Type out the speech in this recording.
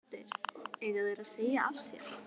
Sighvatur: Eiga þeir að segja af sér?